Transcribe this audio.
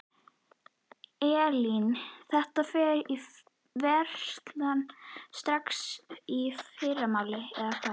Elín: Þetta fer í verslanir strax í fyrramálið eða hvað?